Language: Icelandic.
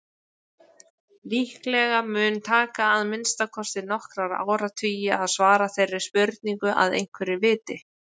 Líklega mun taka að minnsta kosti nokkra áratugi að svara þeirri spurningu að einhverju viti.